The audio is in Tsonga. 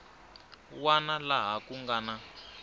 wana laha ku nga na